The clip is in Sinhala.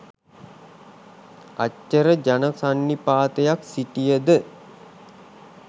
අච්චර ජන සන්නිපාතයක් සිටිය ද